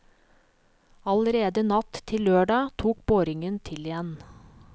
Allerede natt til lørdag tok boringen til igjen.